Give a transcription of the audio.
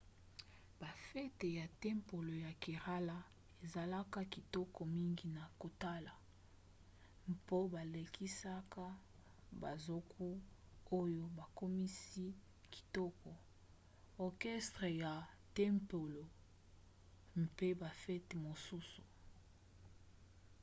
bafete ya tempelo ya kerala ezalaka kitoko mingi na kotala mpo balekisaka banzoku oyo bakomisi kitoko orchestre ya tempelo mpe bafete mosusu